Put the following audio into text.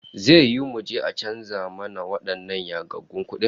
Zai yiwu muje a canza mana wadannan yagaggun kudin?